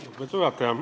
Lugupeetud juhataja!